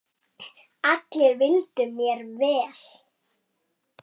Allir vildu mér vel.